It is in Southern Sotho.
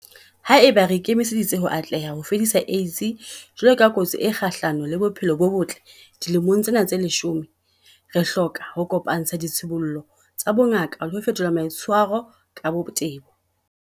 Haeba re ikemiseditse ho atleha ho fedisa AIDS jwalo ka kotsi e kgahlano le bophelo bo botle dilemong tsena tse leshome, re hloka ho kopa-ntsha ditshibollo tsa bongaka le ho fetola maitshwaro ka botebo.